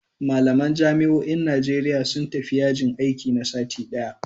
Malaman jami'o'in Najeriya sun tafi yajin aiki na sati ɗaya